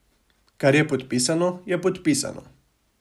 Kar je podpisano, je podpisano.